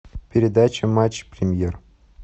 передача матч премьер